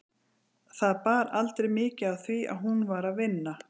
Það bar aldrei mikið á því að hún var að vinna.